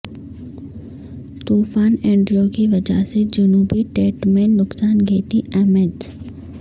طوفان اینڈریو کی وجہ سے جنوبی ڈڈ میں نقصان گیٹی امیجز